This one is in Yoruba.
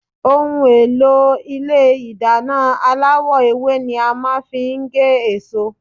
Ohùn èlò Ilé ìdáná aláwò ewé ni a màa n fi gé èso